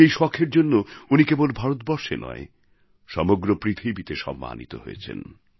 আজ এই শখের জন্য উনি কেবল ভারতবর্ষে নয় সমগ্র পৃথিবীতে সম্মানিত হয়েছেন